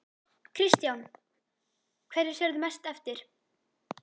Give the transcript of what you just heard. Kristján: Hverju sérðu mest eftir?